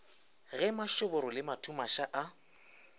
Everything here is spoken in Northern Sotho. ge mašoboro le mathumaša a